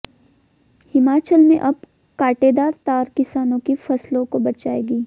हिमाचल में अब कांटेदार तार किसानों की फसलों को बचाएंगी